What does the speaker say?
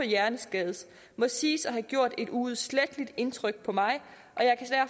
hjerneskaden må siges at have gjort et uudsletteligt indtryk på mig